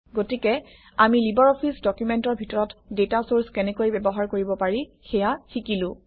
গতিকে আমি লিবাৰঅফিছ ডকুমেণ্টৰ ভিতৰত ডাটা চৰ্চ কেনেকৈ ব্যৱহাৰ কৰিব পাৰি সেয়া শিকিলো